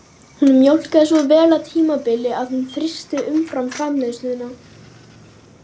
Bless elskurnar, gaman að sjá ykkur!